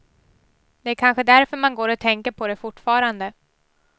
Det är kanske därför man går och tänker på det fortfarande.